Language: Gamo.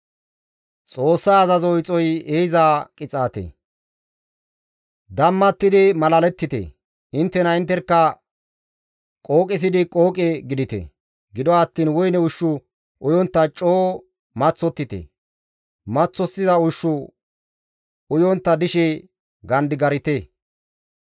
Dammattidi malalettite; inttena intterkka qooqisidi qooqe gidite. Gido attiin woyne ushshu uyontta coo maththottite; maththosiza ushshu uyontta dishe gandigarite.